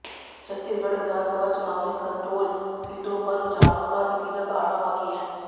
छत्तीसगढ़ विधानसभा चुनाव में कसडोल सीटों पर रुझानों का नतीजा आना बाकी है